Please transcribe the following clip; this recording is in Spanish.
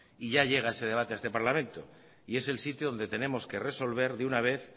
y ya llega ese debate a este parlamento y es el sitio donde tenemos que resolver de una vez